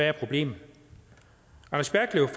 er problemet